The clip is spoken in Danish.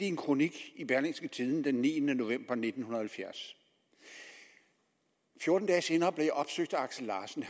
en kronik i berlingske tidende den niende november nitten halvfjerds fjorten dage senere blev jeg opsøgt af axel larsen